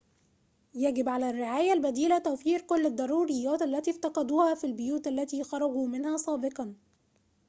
يجب على الرعاية البديلة توفير كل الضروريّات التي افتقدوها في البيوت التي خرجوا منها سابقاً